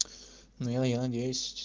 ну я я надеюсь